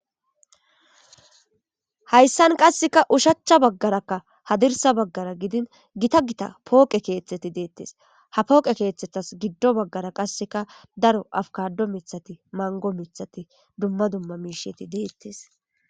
Hayssan qasseka ushachcha baggarakka hadirsa baggara gidin gita gita pooqe keeththeti deettes ha pooqe keeththetas giddo baggara qasseka daro afkaddo mithati mango mithati dumma dumma miisheti deettes.